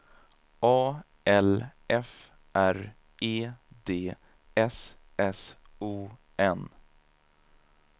A L F R E D S S O N